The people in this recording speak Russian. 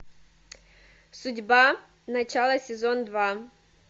судьба начало сезон два